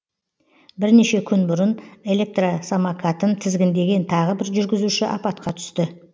бірнеше күн бұрын электросамокатын тізгіндеген тағы бір жүргізуші апатқа түсті